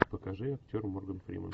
покажи актер морган фриман